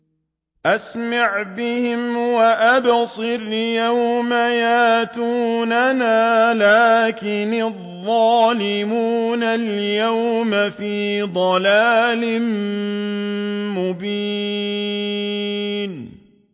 أَسْمِعْ بِهِمْ وَأَبْصِرْ يَوْمَ يَأْتُونَنَا ۖ لَٰكِنِ الظَّالِمُونَ الْيَوْمَ فِي ضَلَالٍ مُّبِينٍ